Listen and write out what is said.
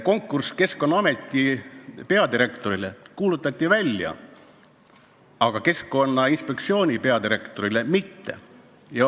Konkurss Keskkonnaameti peadirektori ametikohale kuulutati välja, aga Keskkonnainspektsiooni peadirektori ametikohale mitte.